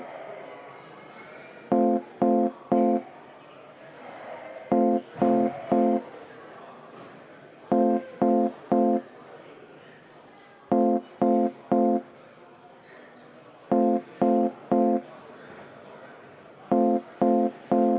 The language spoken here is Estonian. Eelnõu on tagasi lükatud ja langeb menetlusest välja.